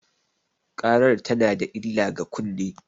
ƙarar tana da illah ga kunne.